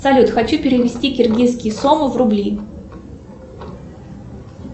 салют хочу перевести киргизские сомы в рубли